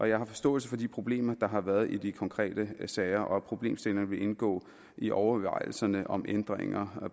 jeg har forståelse for de problemer der har været i de konkrete sager og problemstillingerne vil indgå i overvejelserne om ændringer